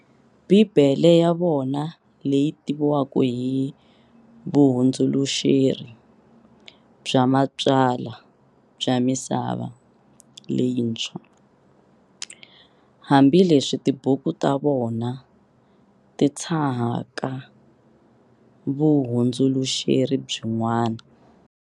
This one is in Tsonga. Bhibhele ya vona leyi tiviwaka hi, Vuhundzuluxeri bya matsalwa bya Misava leyintshwa, hambi leswi tibuku tavona ti tshahaka vuhundzuluxeri byin'wana.